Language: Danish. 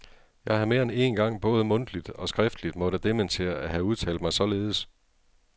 Jeg har mere end én gang både mundtligt og skriftligt måtte dementere at have udtalt mig således.